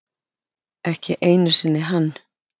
Ekki einu sinni hann.